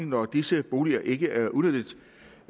når disse boliger ikke er udnyttet